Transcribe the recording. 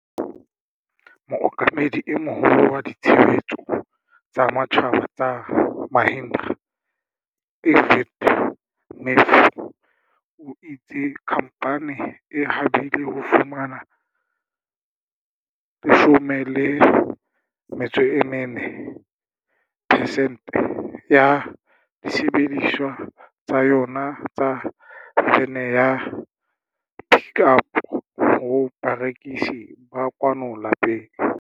Mookamedi e Moholo wa Ditshebetso tsa Matjhaba tsa Mahindra, Arvind Matthew, o itse khamphane e habile ho fumana 40 percent ya disebedisuwa tsa yona tsa vene ya Pik Up ho barekisi ba kwano lapeng.